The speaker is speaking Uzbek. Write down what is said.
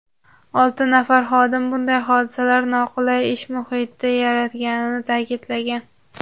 olti nafar xodim bunday hodisalar noqulay ish muhiti yaratganini ta’kidlagan.